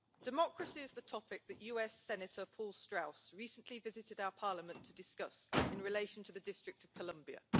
Democracy is the topic that US Senator Paul Strauss recently visited our Parliament to discuss in relation to the District of Columbia.